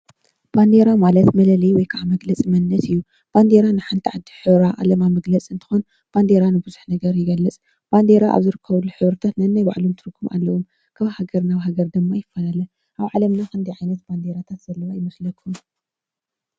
ባንዴራ ማለት መለለይ ወይ ከዓ መግለፂ መንነት እዩ። ባንዴራ ንሓንቲ ዓዲ ሕብራ ዓላማ መግለፂ እንትኾውን ባንዲራ ንብዙሕ ነገር ይገልፅ። ባንዴራ ኣብ ዝርከብሉ ሕብሪታት ነናይ ባዕሎም ትርጉም ኣለዎም። ካብ ሃገር ናብ ሃገር ድማ ይፍላለ። ኣብ ዓለምና ክንደይ ዓይነት ባንዴራታት ዘለው ይመስለኩም?